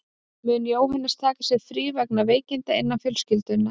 Mun Jóhannes taka sér frí vegna veikinda innan fjölskyldunnar.